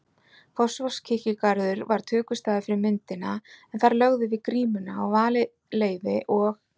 Fossvogskirkjugarður var tökustaður fyrir myndina en þar lögðum við grímuna á valið leiði og